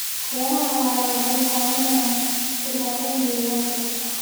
Beeraha waara waxay caawiyaan ilaalinta deegaanka.